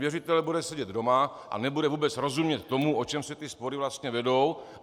Věřitel bude sedět doma a nebude vůbec rozumět tomu, o čem se ty spory vlastně vedou.